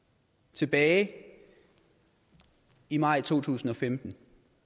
tilbage i maj to tusind og femten